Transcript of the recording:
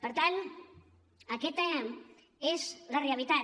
per tant aquesta és la realitat